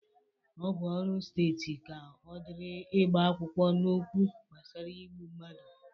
Ọ bụ ọrụ Steeti ka ọdịrị ịgba akwụkwọ n'okwu gbasara igbu mmadụ